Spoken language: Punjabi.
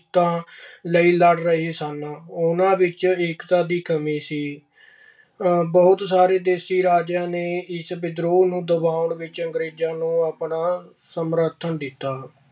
ਹਿੱਤਾਂ ਲਈ ਲੜ ਰਹੇ ਸਨ। ਉਨ੍ਹਾਂ ਵਿੱਚ ਏਕਤਾ ਦੀ ਕਮੀ ਸੀ। ਬਹੁਤ ਸਾਰੇ ਦੇਸੀ ਰਾਜਿਆਂ ਨੇ ਇਸ ਵਿਦਰੋਹ ਨੂੰ ਦਬਾਉਣ ਵਿੱਚ ਆਪਣਾ ਸਮਰਥਨ ਦਿੱਤਾ।